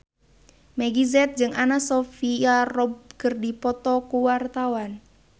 Meggie Z jeung Anna Sophia Robb keur dipoto ku wartawan